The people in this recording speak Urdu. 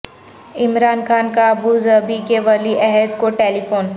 عمران خان کا ابو ظبی کے ولی عہد کو ٹیلی فون